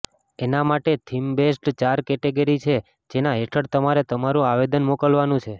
એના માટે theme based ચાર કેટેગરી છે જેના હેઠળ તમારે તમારું આવેદન મોકલવાનું છે